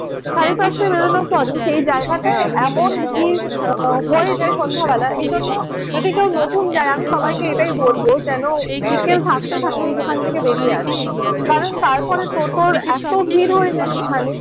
সাড়ে পাঁচটায় বেরোনোর পরে সেই জায়গাটায় এমন ভিড় আহ হয়ে যায় সন্ধ্যাবেলায় এইজন্য যদি কেউ নতুন যায় আমি সবাইকে এটাই বলবো যেনো বিকেল থাকতে থাকতে সেখান থেকে বেড়িয়ে আসে। কারণ তারপরে টোটোর এত ভিড় হয়ে যায় সেখানে